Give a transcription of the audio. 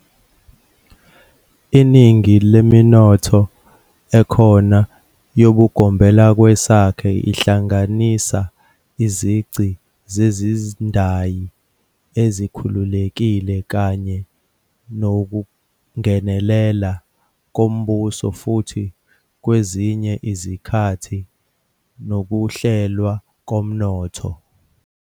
Iningi leminotho ekhona yobugombelakwesakhe ihlanganisa izici zezindayi ezikhululekile kanye nokungenelela kombuso futhi kwezinye izikhathi nokuhlelwa komnotho.